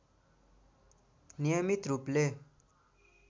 नियमित रूपले